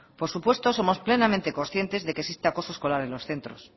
por supuesto somos plenamente conscientes de que existe acoso escolar en los centros